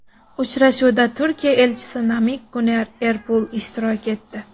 Uchrashuvda Turkiya Elchisi Namiq Guner Erpul ishtirok etdi.